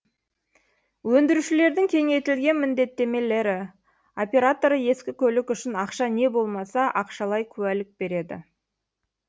өндірушілердің кеңейтілген міндеттемелері операторы ескі көлік үшін ақша не болмаса ақшалай куәлік береді